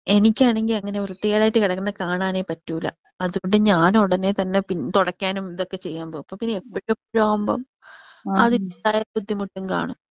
എനിക്ക് ആണെങ്കി അങ്ങനെ വൃത്തികേടായിട്ട് കെടക്കണ കാണാനേ പറ്റൂല. അതുകൊണ്ട് ഞാൻ ഉടനെ തന്നെ തുടക്കാനും ഇതൊക്കെ ചെയ്യാൻ പോവും. അപ്പൊ പിന്നെ എപ്പഴും എപ്പഴും ആവുമ്പോ അതിന്റെ പല ബുദ്ധിമുട്ടും കാണും.